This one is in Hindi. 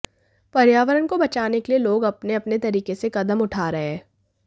पर्यावरण को बचाने के लिए लोग अपने अपने तरीके से कदम उठा रहे हैं